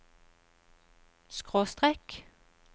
skråstrek